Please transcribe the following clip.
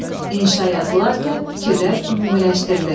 İnşa yazılarkən fikirlər ümumiləşdirilir.